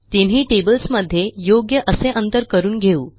तिनही टेबल्स मध्ये योग्य असे अंतर करून घेऊ